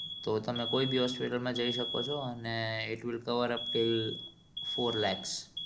તો તમે કોઈ બી hospital માં જઈ શકો છો અને it will cover of legs